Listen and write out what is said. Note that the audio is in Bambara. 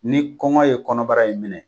Ni kɔngɔ ye kɔnɔbara in minɛ